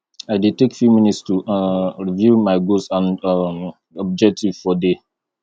i dey take few minutes to um review my goals and um objectives for day